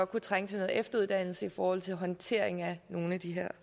kunne trænge til noget efteruddannelse i forhold til håndtering af nogle af de her